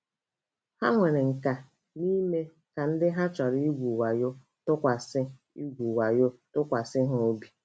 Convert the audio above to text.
Ha nwere nkà n’ime ka ndị ha chọrọ igwu wayo tụkwasị igwu wayo tụkwasị ha obi.